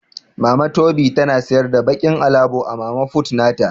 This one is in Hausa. Mama tobi na siyar da bakin alabo a mama fut nata.